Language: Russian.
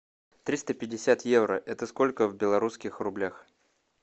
триста пятьдесят евро это сколько в белорусских рублях